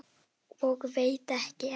Og veit ekki enn!